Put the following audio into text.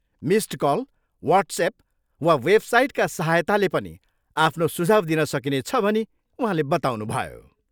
Missed call, WhatsApp वा वेबसाइटका साहायतले पनि आफ्नो सुझाउ दिन सकिनेछ भनी उहाँले बताउनुभयो।